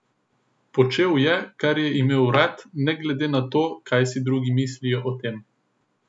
Počel je, kar je imel rad, ne glede na to, kaj si drugi mislijo o tem.